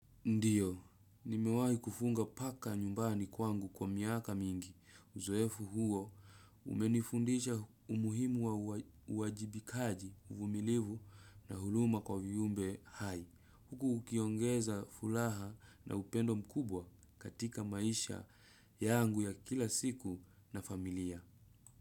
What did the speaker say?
Ndiyo, nimewahi kufunga paka nyumbani kwangu kwa miaka mingi. Uzoefu huo, umenifundisha umuhimu wa uwajibikaji, uvumilivu na huruma kwa viumbe hai. Huku ukiongeza furaha na upendo mkubwa katika maisha yangu ya kila siku na familia.